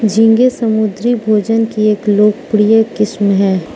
झींगे समुद्री भोजन की एक लोकप्रिय किस्म है।